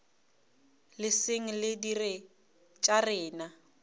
leseng re dire tša rena